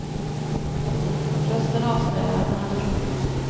Rösten avslöjar att han hade roligt.